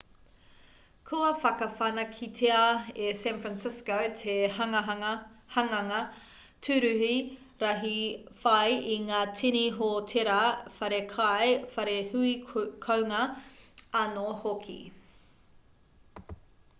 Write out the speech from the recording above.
kua whakawhanaketia e san francisco te hanganga tūruhi rahi whai i ngā tini hōtēra whare kai whare hui kounga anō hoki